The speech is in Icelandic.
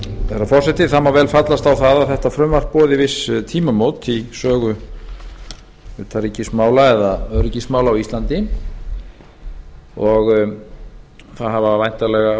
herra forseti það má vel fallast á að þetta frumvarp boði viss tímamót í sögu utanríkismála eða öryggismála á íslandi og það